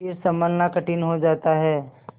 फिर सँभलना कठिन हो जाता है